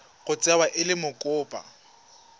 tla tsewa e le mokopa